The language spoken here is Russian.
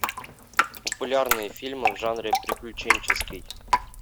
популярные фильмы в жанре приключенческий